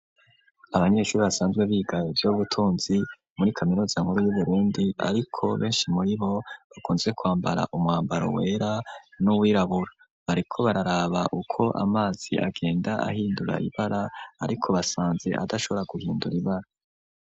Abanyeshuri basanzwe biga ivyu butunzi muri kaminuza nkuru yu Burundi ariko beshi muri bo bakunze kwambara umwambaro wera n'uwirabura bariko bararaba uko amazi agenda ahindura ibara ariko basanze adashobora guhindura ibara